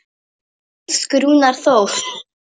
Elsku Rúnar Þór.